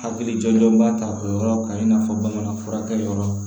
Hakilijɔ b'a ta o yɔrɔ kan i n'a fɔ bamanan furakɛ yɔrɔ